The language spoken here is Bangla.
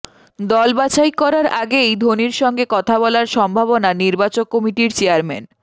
দল বাছাই করার আগেই ধোনির সঙ্গে কথা বলার সম্ভাবনা নির্বাচক কমিটির চেয়ারম্যান